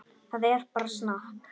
Það er bara snakk.